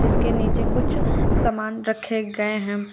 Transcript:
इसके नीचे कुछ सामान रखे गए हैं।